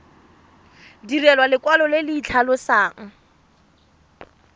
direlwa lekwalo le le tlhalosang